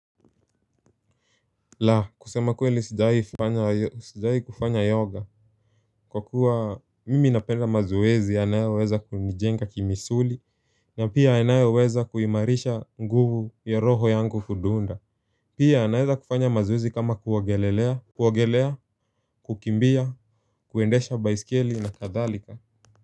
La kusema kweli sijawahi kufanya yoga. Kwa kuwa mimi napenda mazoezi yanayoweza kunijenga kimisuli na pia inayoweza kuimarisha nguvu ya roho yangu kudunda. Pia naweza kufanya mazoezi kama kuogelea kukimbia kuendesha baisikeli na kadhalika.